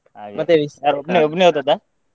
ಮತ್ತೆ ಒಬ್ನೇ ಒಬ್ನೇ ಹೋದದ್ದಾ?